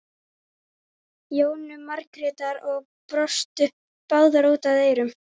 Jónu Margrétar og brostu báðar út að eyrum.